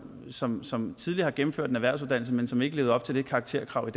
som som tidligere har gennemført en erhvervsuddannelse men som ikke levede op til karakterkravet